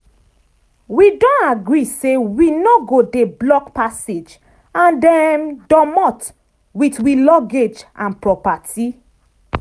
wi don gree say wi no go dey block passage and um domot wit wi luggage and properti.